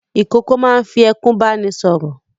Ìkókó máa ń fi ẹkún bá ni sọ̀rọ̀.